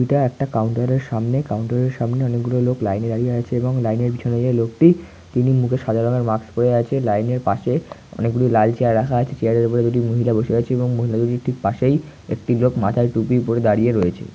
একটা কাউন্টার এর সামনে কাউন্টার এর সামনে অনেকগুলো লোক লাইন এ দাঁড়িয়ে আছে এবং লাইন এর পিছনে যে লোকটি তিনি মুখে সাদা রঙ্গের মাস্ক পড়ে আছে লাইন এর পাশেঅনেকগুলো লাল চেয়ার রাখা আছে চেয়ার ওপড়ে দুটি মহিলা দারিয়ে আছেমহিলা দুটি পাসে একটি লক মাথাই টুপি দিয়ে দারিয়ে রয়িছে ।